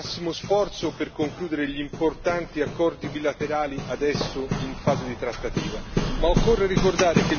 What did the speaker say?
L'Europa deve fare il massimo sforzo per concludere gli importanti accordi bilaterali attualmente in fase di trattativa.